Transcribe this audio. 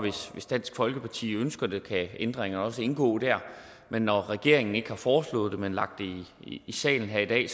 hvis dansk folkeparti ønsker det kan ændringerne også indgå der når regeringen ikke har foreslået det men lagt det i salen her i dag